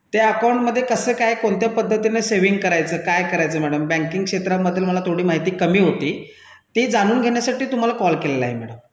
त्या बँक खात्यामध्ये कसं काय कोणत्या पद्धतीने बचत करायची काय करायचं मॅडम बँक क्षेत्रामध्ये मला माहिती कमी होती ते जाणून घेण्यासाठी तुम्हाला फोन केला आहे मॅडम